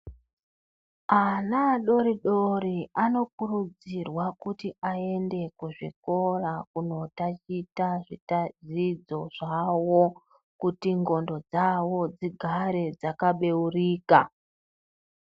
Ana adori-dori anokurudzirwa kuti aende kuzvikora kuno tachita zvidzidzo zvavo. Kuti ndxondo dzavo dzigare dzakabeurika.